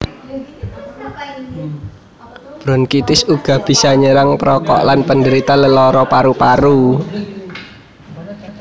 Bronkitis uga bisa nyerang perokok lan penderita lelara paru paru